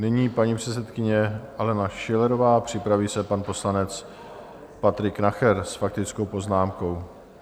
Nyní paní předsedkyně Alena Schillerová, připraví se pan poslanec Patrik Nacher s faktickou poznámkou.